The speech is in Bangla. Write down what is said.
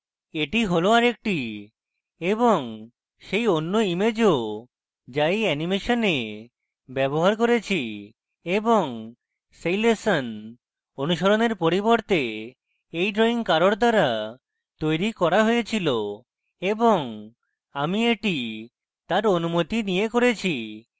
এটি হল আরেকটি এবং সেই and ইমেজও যা এই অ্যানিমেশনে ব্যবহার করেছি এবং সেই lesson অনুসরণের পরিবর্তে এই drawing কারোর দ্বারা তৈরী করা হয়েছিল এবং আমি এটি তার অনুমতি নিয়ে করেছি